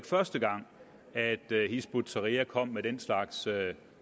første gang at hizb ut tahrir kom med den slags